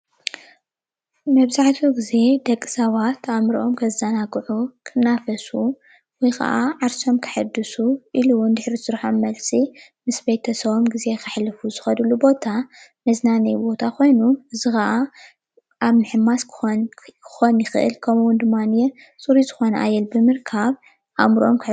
መብዛሕትኡ ግዜ ደቂ ሰባት ኣእምሮኦም ከዘናግዑ ክናፈሱ ወይ ከዓ ዓርሶም ከሕዱሱ ኢሉ እውን ድሕሪ ስራሕ መልሲ ምስ ቤተሰቦም ግዜ ከሕልፉሉ ዝክእልሉ ዝክድሉ ቦታ መዝናነይ ቦታ ኮይኑ እዙይ ከዓ ኣብ ምሕማስ ክከውን ይክእል ከምኡ ዉን ድማንየ ፅሩይ ዝኮነ ኣየር ብምርካብ ኣእምሮኦም ከሕድሱ።